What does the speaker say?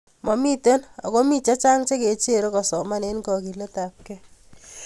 Momitei ago mi chechang chekecherei kosoman eng kogiletabkei